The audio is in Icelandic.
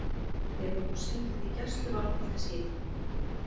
Hefur hún setið í gæsluvarðhaldi síðan